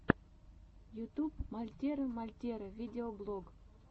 ютуб мальтера мальтера видеоблог